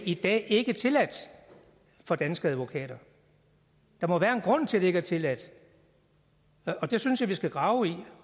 i dag ikke er tilladt for danske advokater der må være en grund til at det ikke er tilladt og det synes jeg vi skal grave i